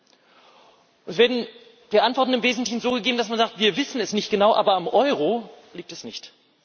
Die Antworten werden im Wesentlichen so gegeben, dass man sagt Wir wissen es nicht genau, aber am Euro liegt es nicht.